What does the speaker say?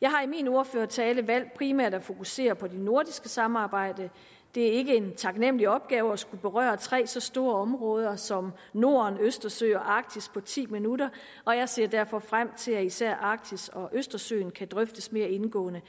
jeg har i min ordførertale valgt primært at fokusere på det nordiske samarbejde det er ikke en taknemmelig opgave at skulle berøre tre så store områder som norden østersøen og arktis på ti minutter og jeg ser derfor frem til at især arktis og østersøen kan drøftes mere indgående